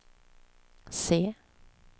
se